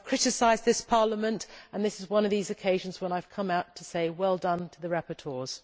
I have criticised this Parliament, and this is one of those occasions when I have come out to say well done' to the rapporteurs.